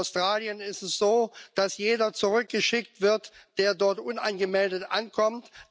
In Australien ist es so, dass jeder zurückgeschickt wird, der dort unangemeldet ankommt.